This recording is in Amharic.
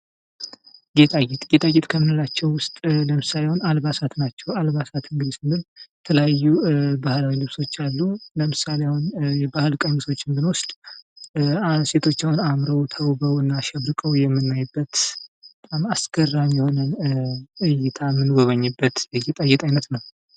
ጌጣጌጥ ። ጌጣጌጥ ከምንላቸው ውስጥ ለምሳሌ አሁን አልባሳት ናቸው ። አልባሳት ግን ስንል የተለያዩ ባህላዊ ልብሶች አሉ ። ለምሳሌ አሁን የባህል ቀሚሶችን ብንወስድ አንስት ሴቶች አሁን አምረው ተውበው እና አሸብርቀው የምናይበት በጣም አስገራሚ የሆነ እይታን ምንጎበኝበት የጌጣጌጥ አይነት ነው ።